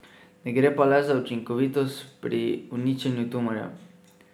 Ne gre pa le za učinkovitost pri uničenju tumorjev.